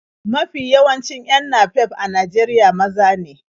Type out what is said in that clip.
Mafi yawancin 'yan napep a Najeriya maza ne.